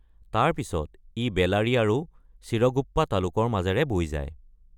তাৰ পিছত ই বেলাৰী আৰু চিৰগুপ্পা তালুকৰ মাজেৰে বৈ যায়।